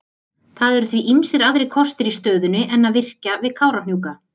Það eru því ýmsir aðrir kostir í stöðunni en að virkja við Kárahnjúka.